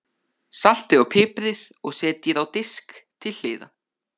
Saltið og piprið og setjið á disk til hliðar.